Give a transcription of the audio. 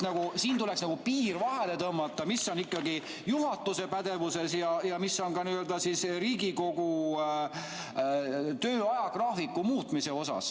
Siin tuleks piir vahele tõmmata, mis on juhatuse pädevuses ja mis on Riigikogu töö ajagraafiku muutmine.